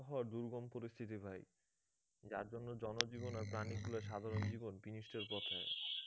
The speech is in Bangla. দুর্গম পরিস্থিতি ভাই যার জন্য জনজীবন আর প্রাণীকুলের সাধারণ জীবন বিনষ্টের পথে